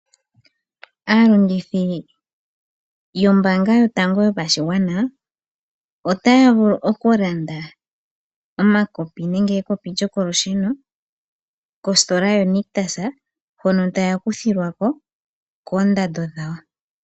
Aalongithi yombaanga yotango yopashigwana, otaya vulu okulanda omakopi gokolusheno, kositola yoNictus hono taya kuthilwa ko koondando dhawo.